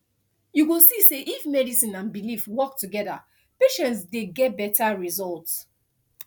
you go see say if medicine and belief work together patients dey get better result